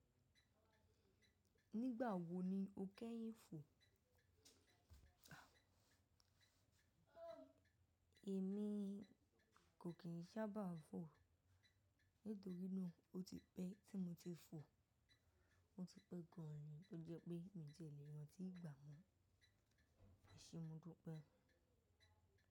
Nígbà wo ni o kẹ́yìn fò? Èmi kò kí n sábà fò. Nítorínà ó ti pẹ́ tí mo ti fò. Mo ti pẹ́ gan an, ó jẹ́ pé mi jẹ́ lè rántí ìgbà mọ. Ese modupe.